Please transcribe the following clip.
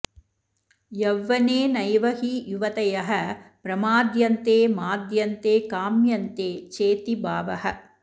यौवनेनैव हि युवतयः प्रमाध्यन्ते माद्यन्ते काम्यन्ते चेति भावः